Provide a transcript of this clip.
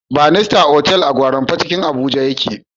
Banista otal a gwarinpa cikin abuja ya ke